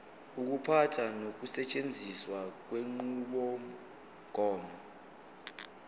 ukuphatha nokusetshenziswa kwenqubomgomo